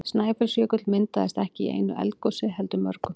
Snæfellsjökull myndaðist ekki í einu eldgosi heldur mörgum.